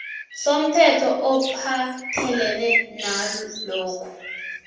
somthetho ophathelene nalokhu